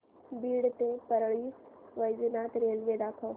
बीड ते परळी वैजनाथ रेल्वे दाखव